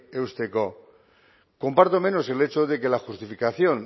eusteko comparto menos el hecho de que la justificación